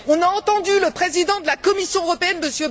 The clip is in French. On a entendu le président de la Commission européenne,